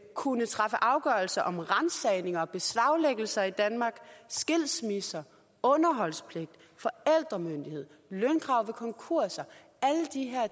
kunne træffe afgørelser om ransagninger og beslaglæggelser i danmark skilsmisser underholdspligt forældremyndighed og lønkrav ved konkurser alle de